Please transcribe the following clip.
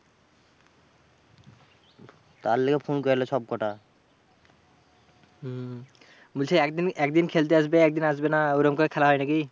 তার লেগে ফোন করলে সব কটা। বলছে একদিন একদিন খেলতে আসবে একদিন আসবে না, ওই রকম করে খেলা হয় নাকি?